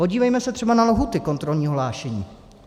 Podívejme se třeba na lhůty kontrolního hlášení.